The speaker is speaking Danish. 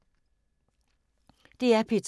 DR P2